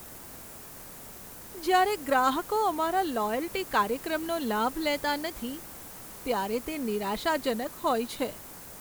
જ્યારે ગ્રાહકો અમારા લોયલ્ટી કાર્યક્રમનો લાભ લેતા નથી, ત્યારે તે નિરાશાજનક હોય છે.